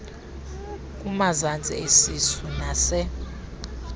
kumazantsi esisu nas